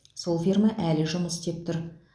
сол ферма әлі жұмыс істеп тұр